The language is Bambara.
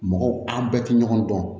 Mɔgɔw an bɛɛ tɛ ɲɔgɔn dɔn